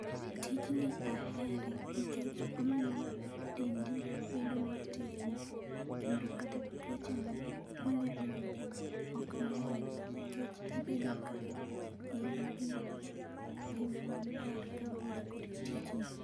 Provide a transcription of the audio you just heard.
Tijni ahere nikech omiyo dendi bedo motegno. Kendo kata tuoch manyalo yudi ok ng'eny nikech ibedo ka in gi ngima maber kaluwore kod tijni.